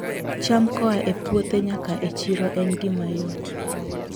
cham koa e puothe nyaka e chiro en gima yot